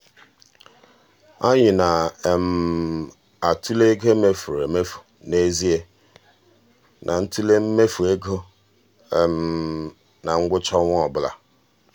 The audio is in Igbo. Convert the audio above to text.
anyị na-atụle ego e mefuru emefu n'ezie na ntule mmefu ego na ngwụcha ọnwa ọbụla.